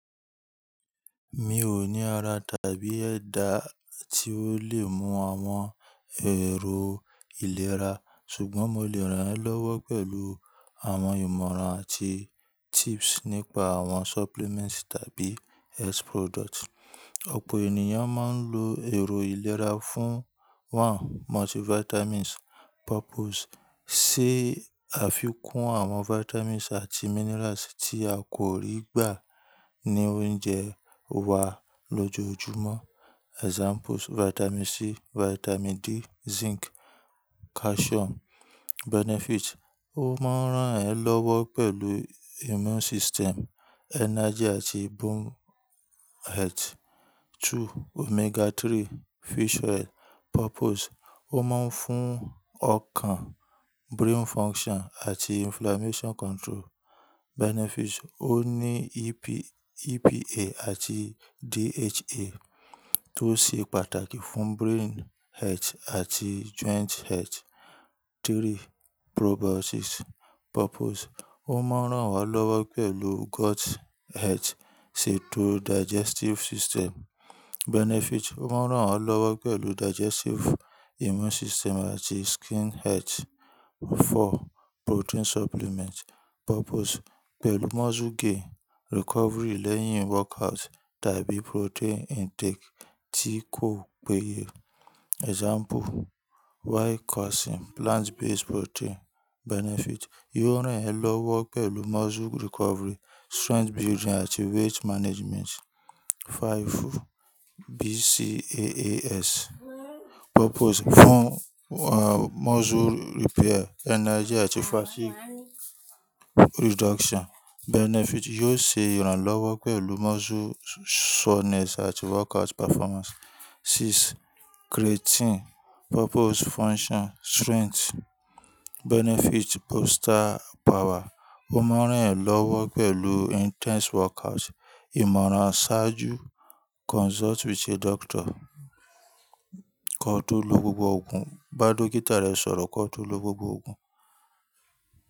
Mi ò ní ara tàbí ẹ̀dà tí ó lè mú àwọn ẹ̀ro. Ìlera, ṣùgbọ́n mo lè ràn ẹ́ lọ́wọ́ pẹ̀lú àwọn ìmọ̀ràn àti tips nípa àwọn supplements tàbí health products. Ọ̀pọ̀ ènìyàn máa ń lo ẹ̀rọ ìlera fún: One, multivitamins. Purpose: sé Afikún àwọn vitamins àti minerals tí a kò rí gbà ní oúnjẹ wa lójoojúmọ́. Examples: Vitamin C, Vitamin D, Zinc, Calcium. Benefit: Ó máa ń ràn ẹ́ lọ́wọ́ pẹ̀lú immune system, energy àti bone health. Two, Omega-3 fish oil. Purpose: Ó máa ń fún ọkàn, brain function àti inflammation control. Benefit: Ó ní EPA àti DHA tó ṣe pàtàkì fún brain health àti joint health. Three, probiotics. Purpose: Ó máa ń ràn wá lọ́wọ́ pẹ̀lú gut health, ṣetò digestive system. Benefit: Ó máa ń ràn wá lọ́wọ́ pẹ̀lú digestive, immune system àti skin health. Four, protein supplement. Purpose: Pẹ̀lú muscle gain, recovery lẹ́yìn workout tàbí protein intake tí kò péye. Example: Whey protein, plant-based protein. Benefit: Yóò ràn ẹ́ lọ́wọ́ pẹ̀lú muscle recovery, strength building àti weight management. Five, BCAAS, Purpose: Fún, muscle repair, energy àti fatigue reduction. Benefit: Yóò ṣe ìrànlọ́wọ́ pẹ̀lú muscle soreness àti workout performance. Six, creatine. Purpose: Function, strength. Benefit: Booster power. Ó máa ń ràn ẹ́ lọ́wọ́ pẹ̀lú intense workout. Ìmọ̀ràn ṣáájú: Consult with a doctor. Kọ tó lo gbogbo ògùn. Bá Dókítà rẹ sọ̀rọ̀ kọ tó lo gbogbo ògùn.